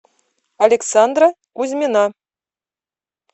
александра кузьмина